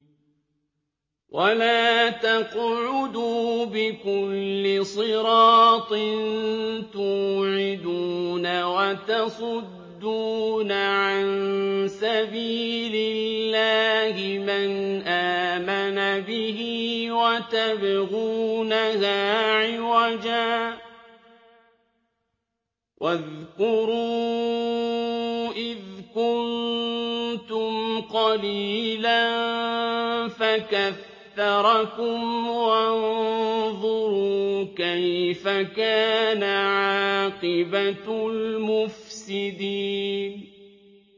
وَلَا تَقْعُدُوا بِكُلِّ صِرَاطٍ تُوعِدُونَ وَتَصُدُّونَ عَن سَبِيلِ اللَّهِ مَنْ آمَنَ بِهِ وَتَبْغُونَهَا عِوَجًا ۚ وَاذْكُرُوا إِذْ كُنتُمْ قَلِيلًا فَكَثَّرَكُمْ ۖ وَانظُرُوا كَيْفَ كَانَ عَاقِبَةُ الْمُفْسِدِينَ